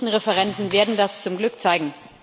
die nächsten Referenden werden das zum Glück zeigen.